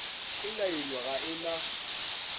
e nailwe ga e na